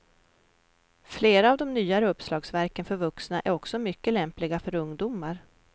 Flera av de nyare uppslagsverken för vuxna är också mycket lämpliga för ungdomar.